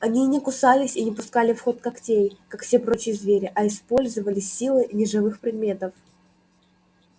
они не кусались и не пускали в ход когтей как все прочие звери а использовали силы неживых предметов